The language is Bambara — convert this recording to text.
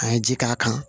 An ye ji k'a kan